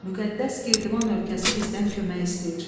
Müqəddəs Girdiman ölkəsi bizdən kömək istəyir.